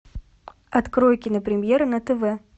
открой кинопремьера на тв